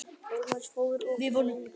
Ósammála áformum um sameiningu